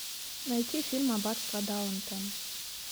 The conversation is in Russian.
найти фильм аббатство даунтон